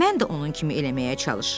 Mən də onun kimi eləməyə çalışıram.